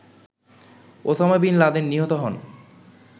Osama bin Laden নিহত হন